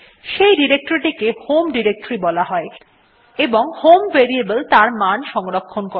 সেই ডিরেক্টরীটি কে হোম ডিরেক্টরী বলা হয় এবং হোম ভেরিয়েবল তার মান সংরক্ষণ করে